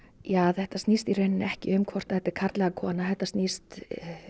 þetta snýst í raun ekki um hvort þetta er karl eða kona þetta snýst